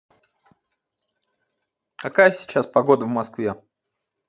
какая сейчас погода в москве